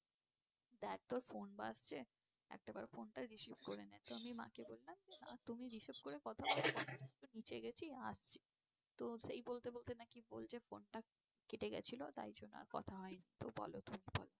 দেখ তোর phone বাজছে, একটা বার phone টা received করে নে। তো আমি মা-কে বললাম যে না তুমি received করে কথা বলো, আমি তো নীচে গিয়েছি, আসছি। তো সেই বলতে বলতে নাকি বলছে, phone টা কেটে গিয়েছিল তাই জন্য আর কথা হয়নি তো বলো তুমি বলো।